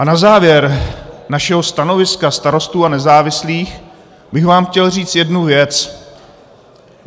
A na závěr našeho stanoviska Starostů a nezávislých bych vám chtěl říct jednu věc.